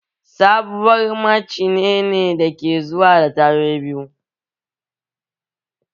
Babur macine ne dake zuwa da tayoyi biyu